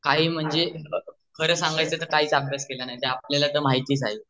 काही म्हणजे खर संगायच तर काही अभ्यास केला नाही ते आपल्याला तर माहितच आहे